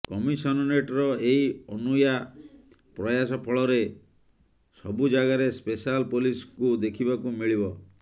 କମସିନରେଟ୍ର ଏହି ଅନୂଆ ପ୍ରୟାସ ଫଳରେ ସବୁଯାଗାରେ ସ୍ପେଶାଲ ପୋଲିସଙ୍କୁ ଦେଖିବାକୁ ମିଳିବ